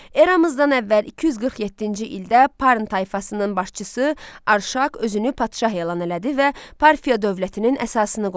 Eramızdan əvvəl 247-ci ildə Parn tayfasının başçısı Arşaq özünü padşah elan elədi və Parfiya dövlətinin əsasını qoydu.